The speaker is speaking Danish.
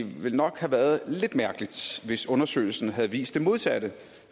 det vel nok havde været lidt mærkeligt hvis undersøgelsen havde vist det modsatte